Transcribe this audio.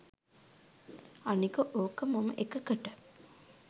අනික ඕක මම එකකට